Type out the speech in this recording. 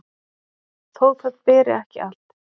þó það beri ekki allt